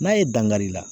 N'a ye dankari i la